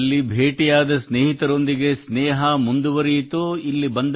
ಅಲ್ಲಿ ಭೇಟಿಯಾದ ಸ್ನೇಹಿತರೊಂದಿಗೆ ಸ್ನೇಹ ಮುಂದುವರಿಯಿತೋ ಇಲ್ಲಿ